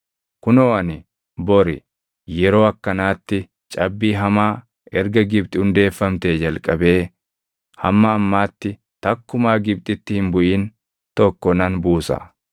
Kunoo ani bori yeroo akkanaatti cabbii hamaa erga Gibxi hundeeffamtee jalqabee hamma ammaatti takkumaa Gibxitti hin buʼin tokko nan buusa.